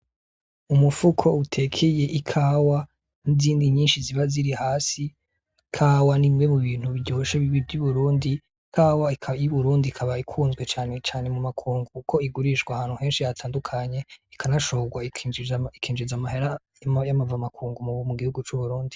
Umufuko utekeye ikawa n'izindi nyinshi ziba ziri hasi ikawa n'imwe mu bintu biryoshe vy'iburindi .Ikawa y'iburundi ikaba ikunzwe cane cane mu makungu kuko igurishwa ahantu henshi batandukanye ikanashorwa ikinjiza amahera y'inkuzamakungu mu gihugu c'uburundi.